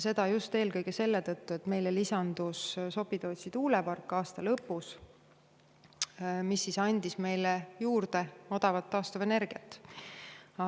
Seda eelkõige selle tõttu, et aasta lõpus lisandus Sopi-Tootsi tuulepark, mis andis meile juurde odavat taastuvenergiat.